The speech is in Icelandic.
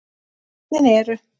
Vötnin eru